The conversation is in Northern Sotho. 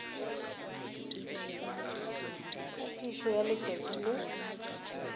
ka phišo ya letšatši le